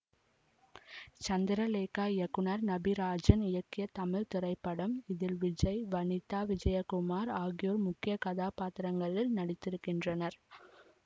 சந்திரலேகா இயக்குனர் நபிராஜன் இயக்கிய தமிழ் திரைப்படம் இதில் விஜய் வனிதா விஜயகுமார் ஆகியோர் முக்கிய கதாபாத்திரங்களில் நடித்திருக்கின்றனர்